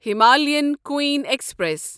Himalayan Queen express